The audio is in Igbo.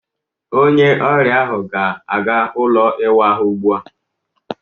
Onye ọrịa ahụ ga-aga ụlọ ịwa ahụ ugbu a.